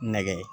Nɛgɛ